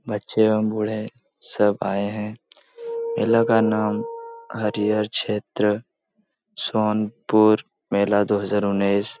बच्चे व बूढ़े सब आए है का नाम हरिहर क्षेत्र सोनपुर मेला दो हजार ग्यारह --